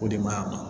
O de maɲi a ma